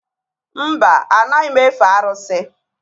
Mba, anaghị m efe arụsị